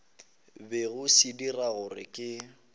bego se dira gore ke